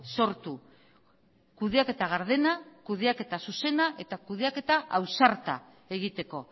sortu kudeaketa gardena kudeaketa zuzena eta kudeaketa ausarta egiteko